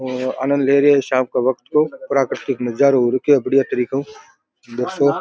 और आनंद ले रहे है शाम के वक्त को प्राकृतिक नजारो हो रखो है बढ़िया तरीको को --